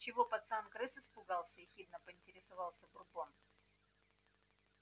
чего пацан крыс испугался ехидно поинтересовался бурбон